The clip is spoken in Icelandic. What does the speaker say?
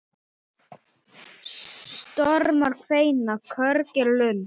Stormar kveina, körg er lund.